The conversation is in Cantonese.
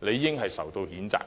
理應受到譴責。